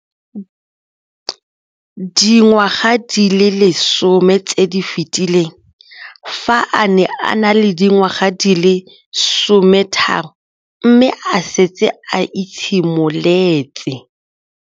Dingwaga di le 10 tse di fetileng, fa a ne a le dingwaga di le 23 mme a setse a itshimoletse